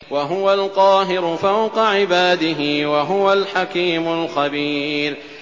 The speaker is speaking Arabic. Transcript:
وَهُوَ الْقَاهِرُ فَوْقَ عِبَادِهِ ۚ وَهُوَ الْحَكِيمُ الْخَبِيرُ